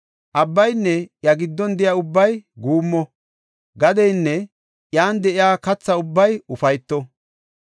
Abbaynne iya giddon de7iya ubbay guummo; gadeynne iyan de7iya katha ubbay ufayto.